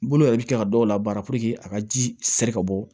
Bolo yɛrɛ bɛ kɛ ka dɔw labaara a ka ji sɛri ka bɔ